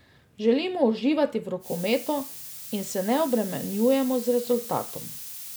Želimo uživati v rokometu in se ne obremenjujemo z rezultatom.